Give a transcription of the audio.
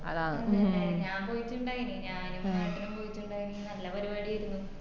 ഞാൻ പോയിറ്റിണ്ടായിനി ഞാനും ഏട്ടനും കൂടി നല്ല പരിപാടിയാരുന്നു